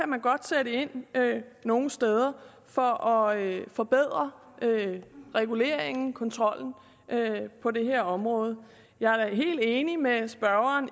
man godt sætte ind nogle steder for at forbedre reguleringen og kontrollen på det her område jeg er helt enig med spørgeren